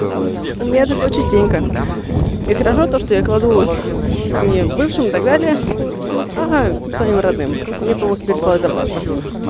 у меня такое частенько и хорошо то что я кладу не бывшем и так далее а своим родным мне потом их пересылают обратно